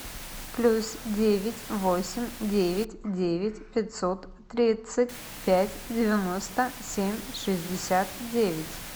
плюс девять восемь девять девять пятьсот тридцать пять девяносто семь шестьдесят девять